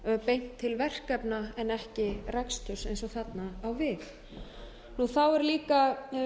beint til verkefna en ekki reksturs eins og þarna á við þá er líka